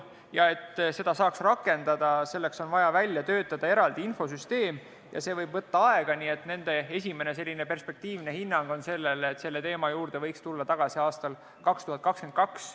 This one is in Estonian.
Selleks, et seda saaks rakendada, on vaja välja töötada eraldi infosüsteem ja see võib võtta aega, nii et nende esimene perspektiivne hinnang on selline, et selle teema juurde võiks tulla tagasi aastal 2022.